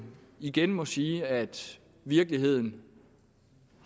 igen må sige at virkeligheden